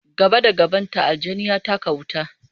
Gaba da gabanta, aljani ya taka wuta.